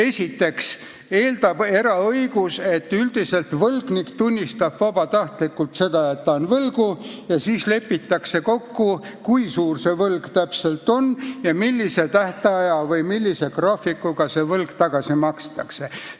Esiteks eeldab eraõigus, et üldiselt võlgnik tunnistab vabatahtlikult seda, et ta on võlgu, ja siis lepitakse kokku, kui suur see võlg täpselt on ja milliseks tähtajaks või millise graafikuga see raha tagasi makstakse.